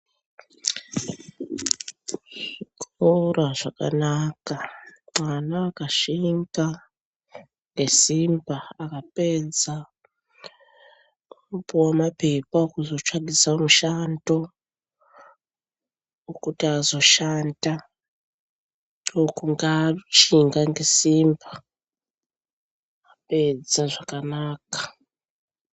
Zvikora zvakanaka, mwana akashinga ngesimba akapedza unopuwe maphepha ekuti azotsvakise mushando wokuti azoshanda, ndokunga ashinga ngesimba, apedza zvakanaka.